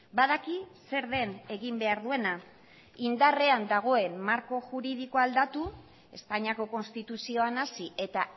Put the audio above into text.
badaki zer den egin behar duena indarrean dagoen marko juridikoa aldatu espainiako konstituzioan hasi eta